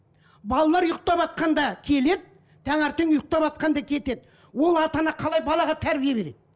балалар ұйықтаватқанда келеді таңертең ұйықтаватқанда кетеді ол ата ана қалай балаға тәрбие береді